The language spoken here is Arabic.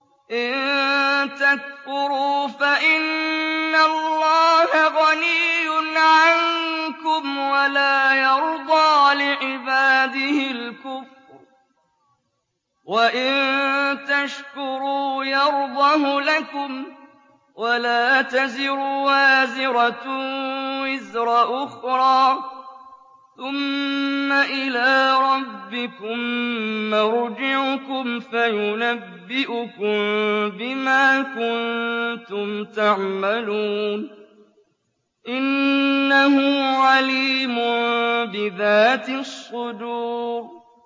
إِن تَكْفُرُوا فَإِنَّ اللَّهَ غَنِيٌّ عَنكُمْ ۖ وَلَا يَرْضَىٰ لِعِبَادِهِ الْكُفْرَ ۖ وَإِن تَشْكُرُوا يَرْضَهُ لَكُمْ ۗ وَلَا تَزِرُ وَازِرَةٌ وِزْرَ أُخْرَىٰ ۗ ثُمَّ إِلَىٰ رَبِّكُم مَّرْجِعُكُمْ فَيُنَبِّئُكُم بِمَا كُنتُمْ تَعْمَلُونَ ۚ إِنَّهُ عَلِيمٌ بِذَاتِ الصُّدُورِ